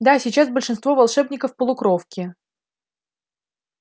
да сейчас большинство волшебников полукровки